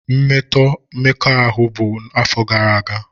mmetọ mmekọahụ bụ afọ gara aga.